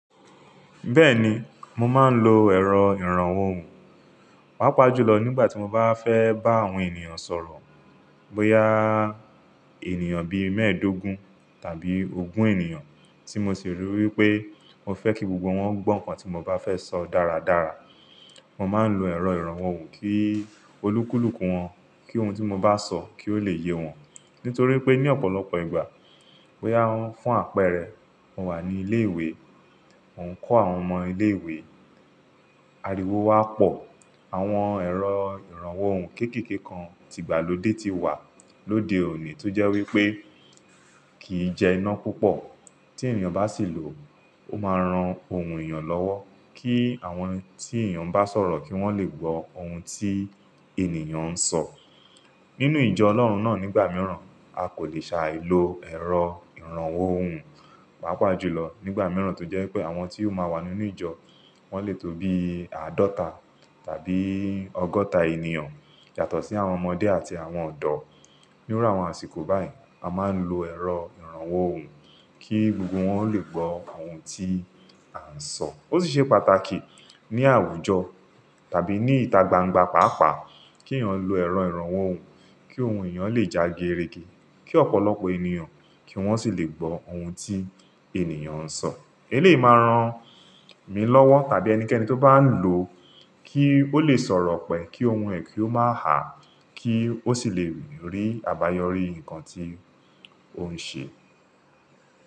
Bẹ́ẹ̀ni, mo máa ń lo ẹ̀rọ ìrànwọ́ ohùn, pàápàá jùlọ nígbà tí mo bá fẹ́ bá àwọn ènìyàn sọ̀rọ̀. Bóyá ènìyàn bí mẹ́ẹ̀ẹ́dógún tàbí ogún ènìyàn tí mo sì rò wípé mo fẹ́ kí gbogbo wọn gbọ́ nǹkan tí mo bá fẹ́ sọ dáradára. Mo máa ń lo ẹ̀rọ ìrànwọ́ ohùn kí olúkúlùkù wọn kí ohun tí mo bá sọ kí ó lè yé wọn. Nítorí pé ní ọ̀pọ̀lọpọ̀ ìgbà, bóyá fún àpẹẹrẹ mo wà ní ilé ìwé, mò ń kọ́ àwọn ọmọ ilé ìwé, ariwo wá pọ̀, àwọn ẹ̀rọ ìrànwọ́ ohùn kéékèèké kan ti ìgbàlódé ti wà lóde òní tó jẹ́ wípé kì í jẹ iná púpọ̀. Tí ènìyàn bá sì lò ó, ó máa ran ohùn ènìyàn lọ́wọ́ kí àwọn tí ènìyàn bá sọ̀rọ̀ kí wọ́n lè gbó ohun tí ènìyàn ń sọ. Nínú ìjọ Ọlọ́run náà nígbà mìíràn a kò lè ṣàì lo ẹ̀rọ ìrànwọ́ ohùn, pàápàá jùlọ nígbà mìíràn tó jẹ́ pé àwọn tí ó máa wà nínú ìjọ wọ́n lè tó bí àádọ́ta tàbí ọgọ́ta ènìyàn yàtọ̀ sí àwọn ọmọdé àti àwọn ọ̀dọ́. Ní irú àwọn àsìkò báyìí a máa ń lo ẹ̀rọ ìrànwọ́ ohùn kí gbogbo wọn ó lè gbọ́ àwọn ohun tí a ń sọ. Ó sì ṣe pàtàkì ní àwùjọ tàbí ní ìta gbangba pàápàá kí ènìyàn lo ẹ̀rọ ìrànwọ́ ohùn kí ohùn ènìyàn lè já gérègé, kí ọ̀pọ̀lọpọ̀ ènìyàn kí wọ́n sì lè gbọ́ ohun tí ènìyàn ń sọ. É lè máa ran mi lọ́wọ́ tàbí ẹnikẹ́ni tó bá ń lò ó kí ó lè sọ̀rọ̀ pẹ̀ kí ohùn ẹ̀ kí ó má háà, kí ó sì lè rí àbáyọrí nǹkan tí òun ṣe.